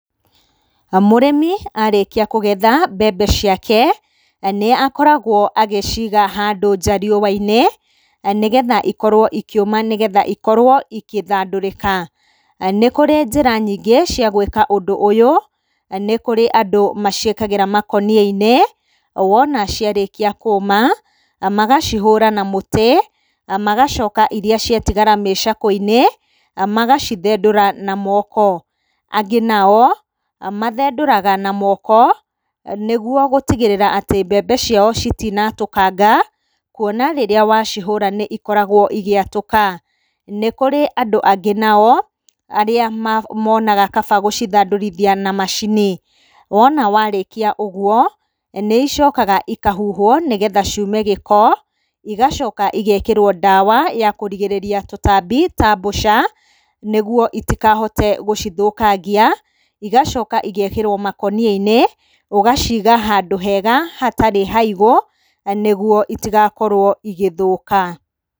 Mũrĩmi arĩkia kũgetha mbembe ciake nĩakoragwo agĩciga handũ nja riũwainĩ, nĩgetha ikorwo ikĩũma nĩgetha ikorwo igĩthandũrĩka. Nĩkũrĩ njĩra nyingĩ cia gwĩka ũndũ ũyũ, nĩkũrĩ andũ maciĩkagĩra makoniainĩ wona ciarĩkia kũma magacihũra na mũtĩ, magacoka iria ciatigara mĩcakweinĩ magacithendũra na moko. Angĩ nao mathendũraga na moko nĩguo gũtigĩrĩra atĩ mbembe ciao citinatũkanga kuona rĩrĩa wacihũra nĩikoragwo cigĩatũka. Nĩkũrĩ andũ angĩ nao arĩa monaga kaba gũcithandũrithia na macini. wona warĩkia ũguo nĩicokaga ikahuhwo nĩgetha ciume gĩko igacoka igekĩrwo ndawa ya kũrigirĩrĩria tũtambi ta mbũca nĩguo itikahote gũcithũkangia. Igacoka igekĩrwo makũniainĩ, ũgaciga handũ hega hatarĩ haigũ nĩguo itigakorwo igĩthũka.